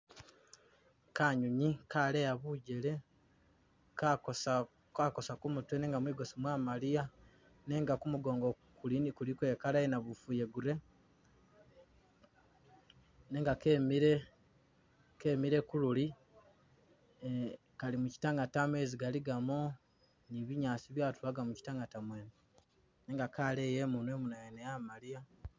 Kanyonyi kaleya bujele, kakosa- kakosa ku mutwe nenga mwigosi mwamaliya nenga ku mugongo kuli- kuliko i color i yanabufu iya grey, nenga kemile- kemile ku luli eh- kali mukyitangata mezi galigamo, ni binyaasi byatulaga mu kyitangata mwene nenga kaleya imunwa imunwa yene yamaliya.